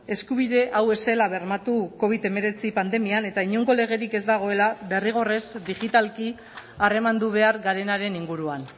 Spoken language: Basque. eskubide hau ez zela bermatu covid hemeretzi pandemian eta inongo legerik ez dagoela derrigorrez digitalki harremandu behar garenaren inguruan